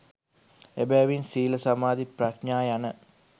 එබැවින් සීල සමාධි ප්‍රඥා යන